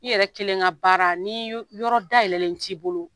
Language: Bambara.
I yɛrɛ kelen ka baara n'i yɔrɔ dayɛlɛlen t'i bolo